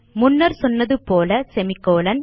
முன்னர் சொன்னது போல செமிகோலன்